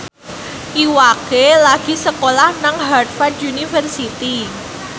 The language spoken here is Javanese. Iwa K lagi sekolah nang Harvard university